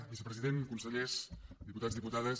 vicepresident consellers diputats diputades